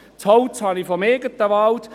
Das Holz habe ich aus dem eigenen Wald.